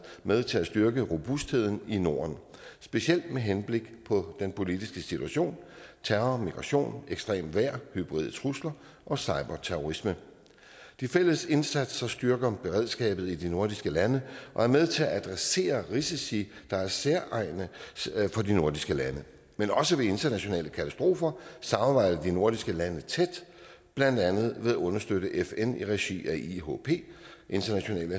med til at styrke robustheden i norden specielt med henblik på den politiske situation terror migration ekstremt vejr hybride trusler og cyberterrorisme de fælles indsatser styrker beredskabet i de nordiske lande og er med til at adressere risici der er særegne for de nordiske lande men også ved internationale katastrofer samarbejder de nordiske lande tæt blandt andet ved at understøtte fn i regi af ihp international